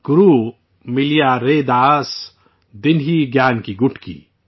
گرو ملیا ریداس، دینہی گیان کی گٹکی